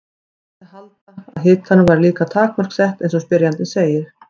Því mætti ætla að hitanum væri líka takmörk sett eins og spyrjandi segir.